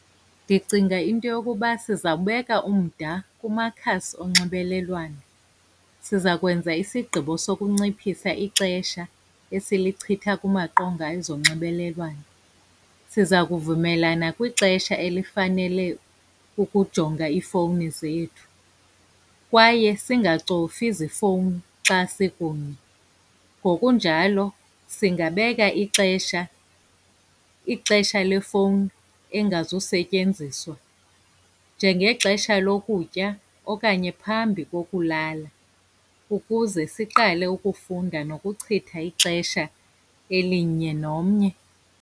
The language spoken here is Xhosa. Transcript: Ndicinga into yokuba sizawubeka umda kumakhasi onxibelelwano. Siza kwenza isigqibo sokunciphisa ixesha esilichitha kumaqonga ezonxibelelwano. Siza kuvumelana kwixesha elifanele ukujonga iifowuni zethu kwaye singacofi zifowuni xa sikunye. Ngokunjalo singabeka ixesha, ixesha lefowuni engazusetyenziswa, njengexesha lokutya okanye phambi kokulala, ukuze siqale ukufunda nokuchitha ixesha elinye nomnye.